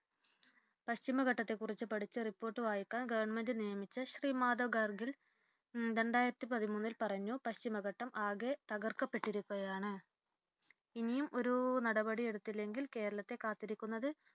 പശ്ചിമഘട്ടത്തെ കുറിച് പഠിച്ച report വായിക്കാം government നിയോഗിച്ച ശ്രീ മാധവ് ഗാഡ്ഗിൽ രണ്ടായിരത്തിപതിമൂന്നിൽ പറഞ്ഞു, പശ്ചിമഘട്ടം ആകെ തകർക്കപ്പെട്ടിരിക്കുകയാണ്. ഇനിയും ഒരു നടപടിയെടുത്തില്ലെങ്കിൽ കേരളത്തെ കാത്തിരിക്കുന്നത്